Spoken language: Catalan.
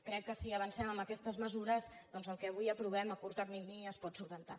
crec que si avancem en aquestes mesures doncs el que avui aprovem a curt termini es pot solucionar